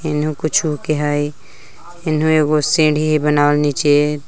इनहु को छु के हइ इनहु एगो सीढ़ी बनावल नीचे--